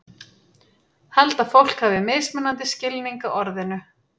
Held að fólk hafi mismunandi skilning á orðinu.